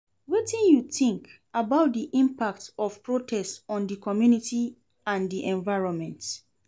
Wetin you think about di impact of protest on di community and di environment?